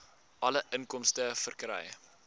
alle inkomste verkry